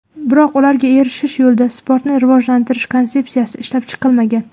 Biroq ularga erishish yo‘lida sportni rivojlantirish konsepsiyasi ishlab chiqilmagan.